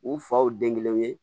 U faw den kelen ye